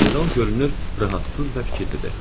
General görünür, narahat və fikirlidir.